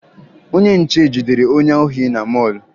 Onye nche jidere onye ohi na mọọlụ